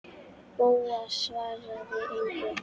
Bóas svaraði engu.